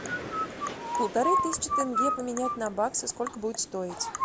полторы тысячи тенге поменять на баксы сколько будет стоить